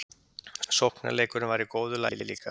Sóknarleikurinn var í góðu lagi líka.